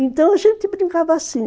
Então a gente brincava assim.